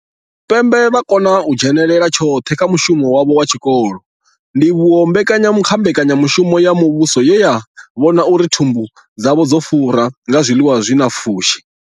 Tshipembe vha khou kona u dzhenela tshoṱhe kha mushumo wavho wa tshikolo, ndivhuwo kha mbekanya mushumo ya muvhuso ye ya vhona uri thumbu dzavho dzo fura nga zwiḽiwa zwi na pfushi.